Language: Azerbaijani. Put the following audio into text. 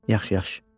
Yaxşı, yaxşı.